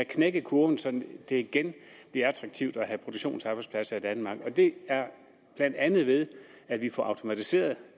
knækket kurven så det igen bliver attraktivt at have produktionsarbejdspladser i danmark og det er blandt andet ved at vi får automatiseret